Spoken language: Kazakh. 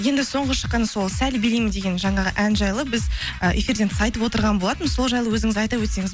мхм енді соңғы шыққан сол сәл билеймін деген жаңағы ән жайлы біз ы эфирден тыс айтып отырған болатынбыз сол жайлы өзіңіз айта өтсеңіз